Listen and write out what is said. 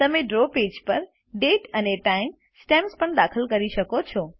તમે draw page પર દાતે અને ટાઇમ સ્ટેમ્પ્સ પણ દાખલ કરી શકો છો